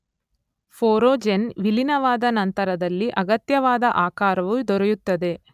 ಪೊರೊಜೆನ್ ವಿಲೀನವಾದ ನಂತರದಲ್ಲಿ ಅಗತ್ಯವಾದ ಆಕಾರವು ದೊರೆಯುತ್ತದೆ.